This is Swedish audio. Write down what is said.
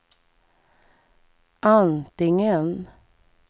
antingen